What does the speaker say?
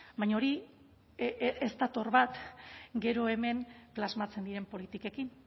baina hori ez dator bat gero hemen plasmatzen diren politikekin